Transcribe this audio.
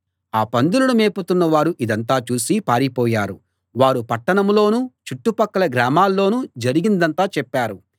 ఆ పందులను మేపుతున్న వారు ఇదంతా చూసి పారిపోయారు వారు పట్టణంలోనూ చుట్టుపక్కల గ్రామాల్లోనూ జరిగిందంతా చెప్పారు